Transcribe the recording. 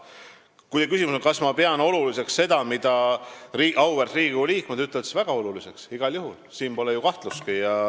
Kui teie küsimus on, kas ma pean oluliseks seda, mida auväärt Riigikogu liikmed ütlevad, siis ma vastan, et pean väga oluliseks, igal juhul, siin pole ju kahtlustki.